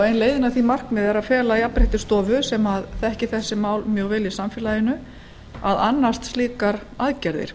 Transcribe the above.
ein leiðin að því markmiði er að fela jafnréttisstofu sem þekkir þessi mál mjög vel í samfélaginu að annast slíkar aðgerðir